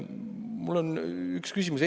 Mul on üks küsimus.